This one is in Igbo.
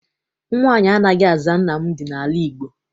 Nwaanyị anaghị aza Nnamdị n'ala Igbo.